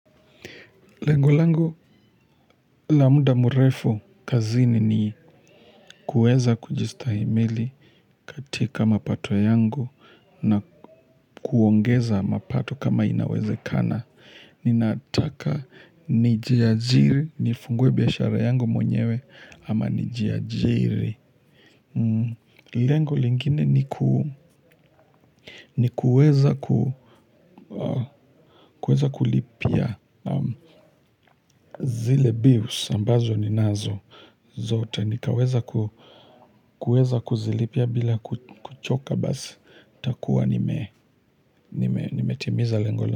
Lengo langu la muda mrefu kazini ni kuweza kujistahimili katika mapato yangu na kuongeza mapato kama inawezekana. Ninataka nijiajiri, nifungue biashara yangu mwenyewe ama nijiajiri. Lengo lingine ni kuweza kulipia zile bills ambazo ninazo. Zote nikaweza kuweza kuzilipia bila kuchoka basi nitakuwa nime nimetimiza lengo la.